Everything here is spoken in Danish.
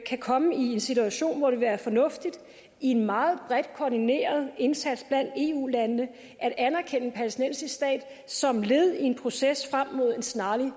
kan komme i en situation hvor det vil være fornuftigt i en meget bredt koordineret indsats blandt eu landene at anerkende en palæstinensisk stat som led i en proces frem mod en snarlig